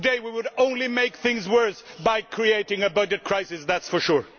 today we would only make things worse by creating a budget crisis that is for sure.